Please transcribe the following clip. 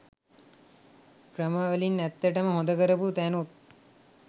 ක්‍රම වලින් ඇත්තටම හොඳ කරපු තැනුත්